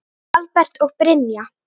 Albert og Brynja.